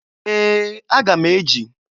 Ee! Aga m eji.